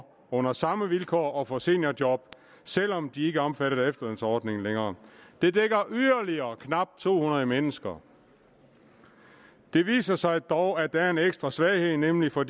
under samme vilkår at få seniorjob selv om de ikke er omfattet af efterlønsordningen længere det dækker yderligere knap to hundrede mennesker det viser sig dog at der er en ekstra svaghed nemlig for